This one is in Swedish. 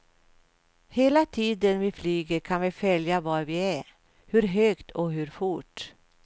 Hela tiden vi flyger kan vi följa var vi är, hur högt och hur fort.